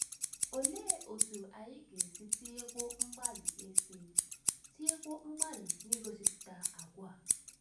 Olee otú anyị ga - esi tinyekwuo mgbalị esi tinyekwuo mgbalị n’igosipụta àgwà a?